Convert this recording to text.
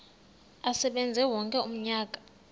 asebenze wonke umnyaka